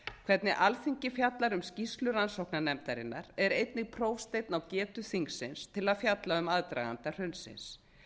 hvernig alþingi fjallar um skýrslu rannsóknarnefndarinnar er einnig prófsteinn á getu þingsins til að fjalla um aðdraganda hrunsins